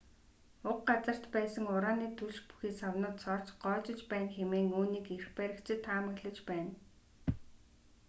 уг газарт байсан ураны түлш бүхий савнууд цоорч гоожиж байна хэмээн үүнийг эрх баригчид таамаглаж байна